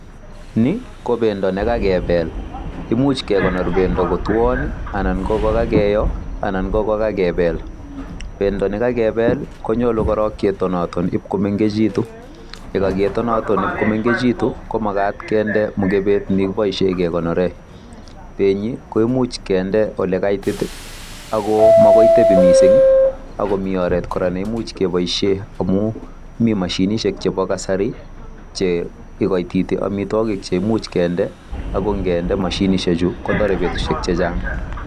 Ni KO bendo nekakebel, imuchekekonor bendo kotwon ,anan ko kokakiyoo, anon ko kakebel. Bendo nekalebel konyolu korong ketonaton ib komengekitun, yekaketonaton komengekitun komagat kinde mikebet nekiboishien kekonooren. Benyii koimuch kinde OLE kaitit ak komokoi tebii missing I,ako mi oret kora neimuch keboishien. Amun mi mashinishiek chebo kasari Che ikoititi amitwogik cheimuch kinde, ako inginde mashinishechu kotoree betusiek chechang.